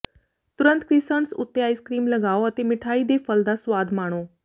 ਤੁਰੰਤ ਕ੍ਰਿਸੰਟਸ ਉੱਤੇ ice cream ਲਗਾਓ ਅਤੇ ਮਿਠਾਈ ਦੇ ਫਲ ਦਾ ਸੁਆਦ ਮਾਣੋ